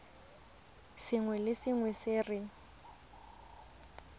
sengwe le sengwe se re